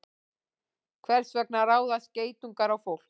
Hvers vegna ráðast geitungar á fólk?